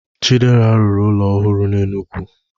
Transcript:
Chidera rụrụ ụlọ ọhụrụ n'Enugwu